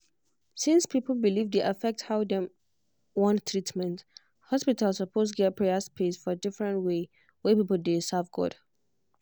since people belief dey affect how dem wan take treatment hospital suppose get prayer space for different way wey people dey serve god.